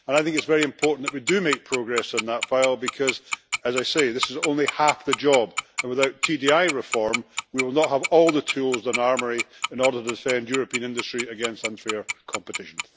It is very important that we do make progress in that file, because as I said this is only half the job, and without TDI reform we will not have all the tools and armoury we need to defend European industry against unfair competition.